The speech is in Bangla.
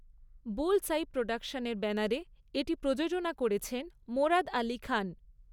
বুলস্আই প্রোডাকশনের ব্যানারে এটি প্রযোজনা করেছেন মোরাদ আলী খান।